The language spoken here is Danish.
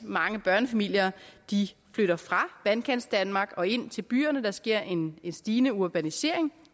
mange børnefamilier flytter fra vandkantsdanmark og ind til byerne der sker en stigende urbanisering